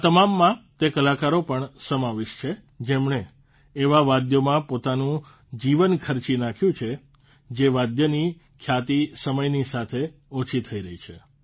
આ તમામમાં તે કલાકારો પણ સમાવિષ્ટ છે જેમણે એવા વાદ્યોમાં પોતાનું જીવન ખર્ચી નાંખ્યું જે વાદ્યોની ખ્યાતિ સમયની સાથે ઓછી થઇ રહી છે